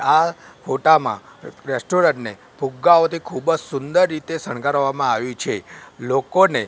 આ ફોટામાં રેસ્ટોરન્ટ ને ફુગ્ગાઓ થી ખુબ જ સુંદર રીતે શણગારવામાં આવી છે લોકો ને--